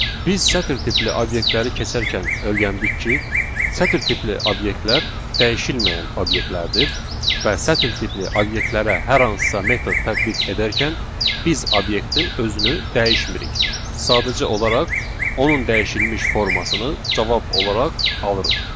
Biz sətir tipli obyektləri keçərkən öyrəndik ki, sətir tipli obyektlər dəyişilməyən obyektlərdir və sətir tipli obyektlərə hər hansısa metod tətbiq edərkən biz obyektin özünü dəyişmirik, sadəcə olaraq onun dəyişilmiş formasını cavab olaraq alırıq.